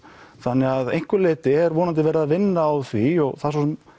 þannig að einhverju leyti er vonandi verið að vinna á því og það er svo sem